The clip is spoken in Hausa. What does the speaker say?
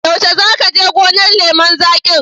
Yaushe za ka je gonar lemun zaƙin?